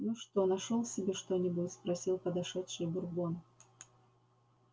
ну что нашёл себе что-нибудь спросил подошедший бурбон